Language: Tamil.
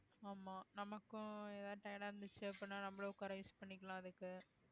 ஆமா நமக்கும் எதாவது tired ஆ இருந்துச்சு அப்படின்னா நம்மளும் உட்கார use பண்ணிக்கலாம் அதுக்கு